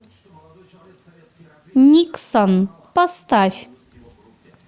никсон поставь